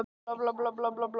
Ég er bara ekki einn um það.